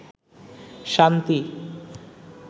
শান্তি